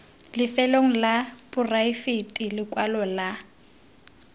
lefelong la poraefete lekwalo la